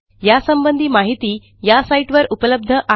यासंबंधी माहिती या साईटवर उपलब्ध आहे